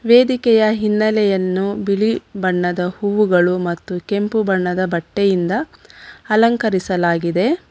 ವೇದಿಕೆಯ ಹಿನ್ನೆಲೆಯನ್ನು ಬಿಳಿ ಬಣ್ಣದ ಹೂವುಗಳು ಮತ್ತು ಕೆಂಪು ಬಣ್ಣದ ಬಟ್ಟೆಯಿಂದ ಅಲಂಕರಿಸಲಾಗಿದೆ.